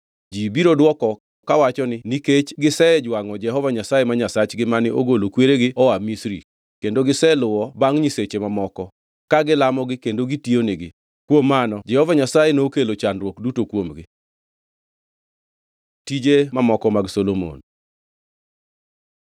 Ji biro dwoko kawacho ni, ‘Nikech gisejwangʼo Jehova Nyasaye ma Nyasachgi mane ogolo kweregi oa Misri, kendo giseluwo bangʼ nyiseche mamoko, ka gilamogi kendo gitiyo nigi, kuom mano Jehova Nyasaye nokelo chandruok duto kuomgi.’ ” Tije mamoko mag Solomon